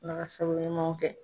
Ala ka sababu ɲumanw kɛ.